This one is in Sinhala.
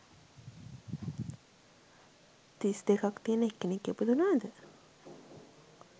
තිස් දෙකක් තියෙන එක් කෙනෙක් ඉපදුණාද?